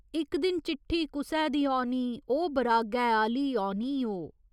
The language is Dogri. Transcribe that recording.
इक दिन चिट्ठी कुसै दी औनी ओ बरागै आह्‌ली औनी ओ।